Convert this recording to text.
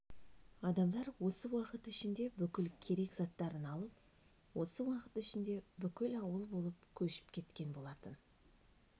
адамдар осы уақыт ішінде бүкіл керек заттарын алып осы уақыт ішінде бүкіл ауыл болып көшіп кеткен болатын